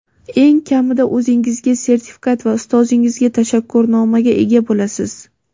Eng kamida o‘zingizga sertifikat va ustozingizga tashakkurnomaga ega bo‘lasiz.